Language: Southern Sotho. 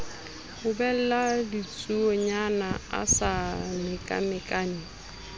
ubella ditsuonyana a sa mekamekane